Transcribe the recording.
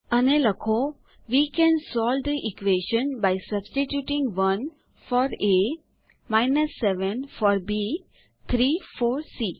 અને લખો we can solve the equation by substituting 1 for a 7 for b 3 for C